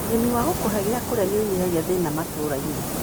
ũrĩmi wa gũkũhe gia kũrĩa nĩũnyihagia thina matũrainĩ.